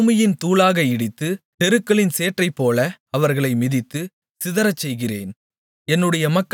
அவர்களை பூமியின் தூளாக இடித்து தெருக்களின் சேற்றைப்போல அவர்களை மிதித்து சிதறச்செய்கிறேன்